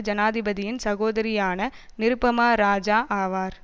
ஜனாதிபதியின் சகோதரியான நிருபமா இராஜா ஆவார்